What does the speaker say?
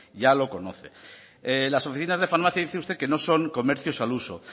ya lo conoce las oficinas de farmacia dice usted que no son comercios al uso